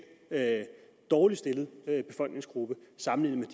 dårligst stillet befolkningsgruppe sammenlignet